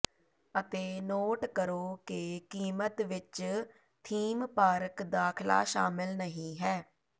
ਅਤੇ ਨੋਟ ਕਰੋ ਕਿ ਕੀਮਤ ਵਿੱਚ ਥੀਮ ਪਾਰਕ ਦਾਖਲਾ ਸ਼ਾਮਲ ਨਹੀਂ ਹੈ